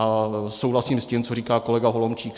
A souhlasím s tím, co říkal kolega Holomčík.